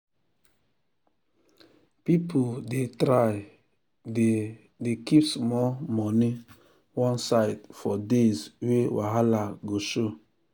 people dey try dey dey keep small money one side for days wey wahala go show.